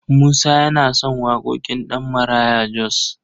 Musa yana son waƙoƙin Ɗabmaraya Jos.